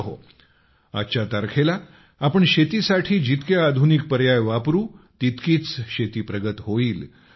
मित्रहो आजच्या तारखेला आपण शेतीसाठी जितके आधुनिक पर्याय वापरू तितकीच शेती प्रगत होईल